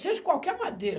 Seja qualquer madeira.